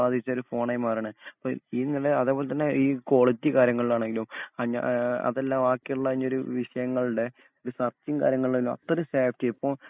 അത്തരേം hang ബാധിച്ച ഒരു ഫോണായി മാറേണ് അപ്പോ ഈ ഇങ്ങനെ അതേപോലെ തന്നെ ഈ ക്വാളിറ്റി കാര്യങ്ങളിൽ ആണെങ്കിലും ആഹ് അതല്ല ബാക്കി ഉള്ള ഇനിയൊരു വിഷയങ്ങളുടെ ഒരു കാര്യങ്ങളും എല്ലാം അത്രേം സേഫ്റ്റി